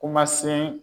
Kuma se